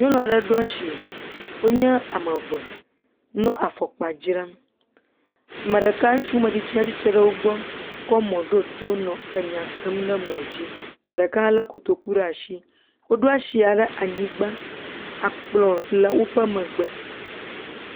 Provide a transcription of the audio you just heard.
Nyɔnu aɖe ɖo ashi. Wonye ame eve nɔ afɔkpa dzram. Me ɖeka, ŋutsumetsitsia tsi tsre ɖe wogbɔ kɔ mɔ̃ ɖo to nɔ enya sem le mɔ̃dzi. Me ɖeka hã lé kotoku ɖe ashi. Woɖo ashia ɖe anyigbã. Akplɔ̃ le woƒe megbe.